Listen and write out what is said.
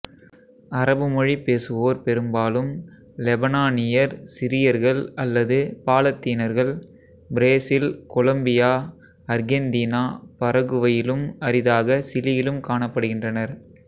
அரபு மொழி பேசுவோர் பெரும்பாலும் லெபனானியர் சிரியர்கள் அல்லது பாலத்தீனர்கள் பிரேசில் கொலொம்பியா அர்கெந்தீனா பரகுவையிலும் அரிதாக சிலியிலும் காணப்படுகின்றனர்